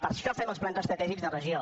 per això fem els plans estratègics de regió